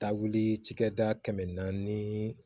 Taagili cikɛda kɛmɛ naani